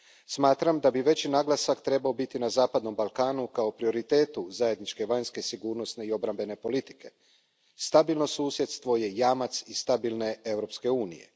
Smatram da bi veći naglasak trebao biti na zapadnom Balkanu kao prioritetu zajedničke vanjske sigurnosne i obrambene politike. Stabilno susjedstvo je jamac i stabilne Europske unije.